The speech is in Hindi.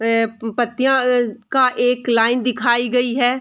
ए ए पत्तियां का एक लाइन दिखाई गई है।